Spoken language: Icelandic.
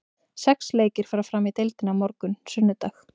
Sex leikir fara fram í deildinni á morgun, sunnudag.